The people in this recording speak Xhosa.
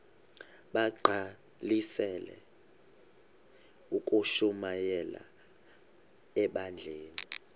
bagqalisele ukushumayela ebandleni